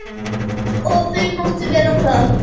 Og þau máttu vera það.